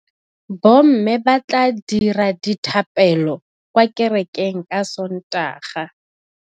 Bommê ba tla dira dithapêlô kwa kerekeng ka Sontaga.